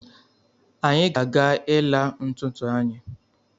Anyị ga-aga ịla ntụtụ anyi